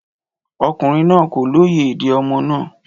Ọkùnrin náà kò lóye èdè ọmọ náà